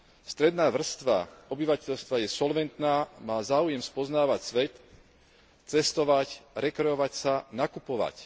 Stredná vrstva obyvateľstva je solventná, má záujem spoznávať svet, cestovať, rekreovať sa, nakupovať.